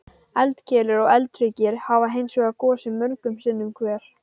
Eldkeilur og eldhryggir hafa hins vegar gosið mörgum sinnum hver.